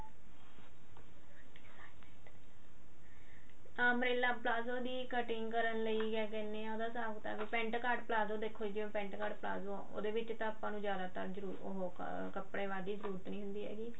umbrella palazzo ਦੀ cutting ਕਰਨ ਲਈ ਕਿਆ ਕਹਿੰਦੇ ਆ ਉਹਦਾ ਹਿਸਾਬ ਕਿਤਾਬ pent cart ਪਲਾਜ਼ੋ ਦੇਖੋ ਜਿਵੇਂ pent cart ਪਲਾਜ਼ੋ ਆ ਉਹਦੇ ਵਿੱਚ ਤਾਂ ਆਪਾਂ ਨੂੰ ਜਿਆਦਾਤਰ ਤਾਂ ਉਹ ਕੱਪੜੇ ਵੱਢ ਦੀ ਜਰੂਰਤ ਨੀ ਹੁੰਦੀ ਹੈਗੀ